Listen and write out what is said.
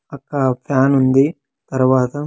అక్కడ ఫ్యాన్ ఉంది తర్వాత.